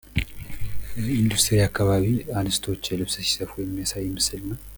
በኢንዱስትሪ አካባቢ እንስቶች ልብስ ሲሰፉ የሚያሳይ ምስል ነው።